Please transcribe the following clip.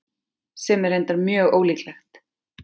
Sem er reyndar mjög ólíklegt.